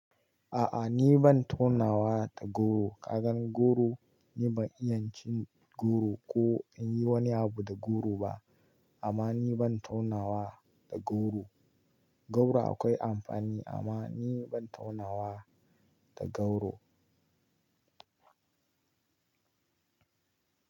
A'a ni ban taunawa da goro. Ka gan goro? Ni ban iya cin goro ko in yi wani abu da goro ba amma ni ban taunawa da goro. Goro akwai amfani amma ni ban taunawa da goro.